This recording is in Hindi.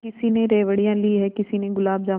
किसी ने रेवड़ियाँ ली हैं किसी ने गुलाब जामुन